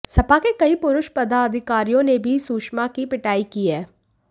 सपा के कई पुरुष पदाधिकारियों ने भी सुषमा की पिटाई की है